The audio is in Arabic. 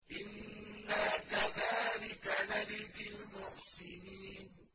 إِنَّا كَذَٰلِكَ نَجْزِي الْمُحْسِنِينَ